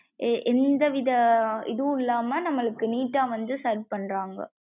எர் எந்த வித இதுவும் இல்லம்மா நம்மளுக்கு neat வந்து serve பன்றாங்க.